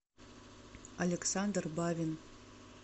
александр бавин